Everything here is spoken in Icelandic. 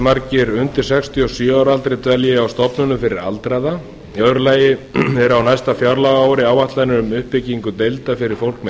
margir undir sextíu og sjö ára aldri dvelja á stofnunum fyrir aldraða önnur eru á næsta fjárlagaári áætlanir um uppbyggingu deilda fyrir fólk með